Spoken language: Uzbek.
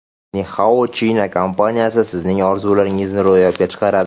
Ni Hao China kompaniyasi sizning orzularingizni ro‘yobga chiqaradi.